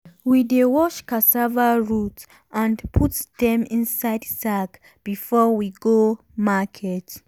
we dey wash cassava root and put dem inside sack before we go market.